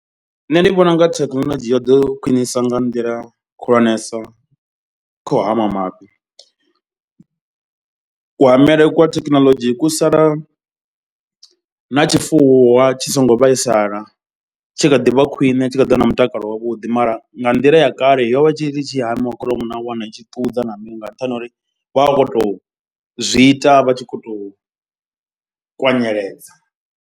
Nṋe ndi vhona unga thekhinolodzhi yo ḓo khwinisa nga nḓila khulwanesa kha u hama mafhi. Kuhamele kwa thekhinoḽodzhi ku sala na tshifuwo tshi songo vhaisala tshi kha ḓi vha khwine tshi kha ḓi vha na mutakalo wavhuḓi. Mara nga nḓila ya kale yo vha i tshi tshi hamiwa kholomo na wana i tshi ṱudza na mini nga nṱhani ha uri vha vha vha khou tou zwi ita vha tshi khou tou kwanyeledza.